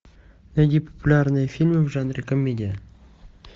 найди популярные фильмы в жанре комедия